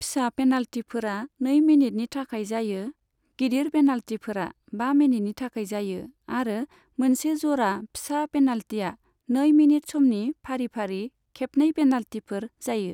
फिसा पेनाल्टीफोरा नै मिनिटनि थाखाय जायो, गिदिर पेनाल्टीफोरा बा मिनिटनि थाखाय जायो आरो मोनसे ज'रा फिसा पेनाल्टीया नै मिनिट समनि फारि फारि खेबनै पेनाल्टीफोर जायो।